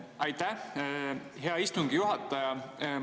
Aitäh, hea istungi juhataja!